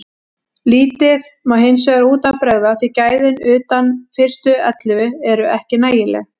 Lítið má hinsvegar út af bregða því gæðin utan fyrstu ellefu eru ekki nægileg.